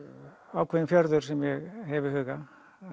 ákveðinn fjörður sem ég hef í huga